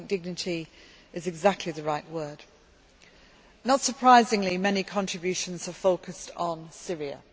I think dignity is exactly the right word. Not surprisingly, many contributions have focused on Syria.